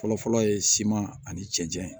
Fɔlɔfɔlɔ ye siman ani cɛncɛn ye